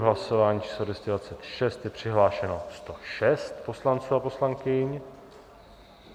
V hlasování číslo 226 je přihlášeno 106 poslanců a poslankyň.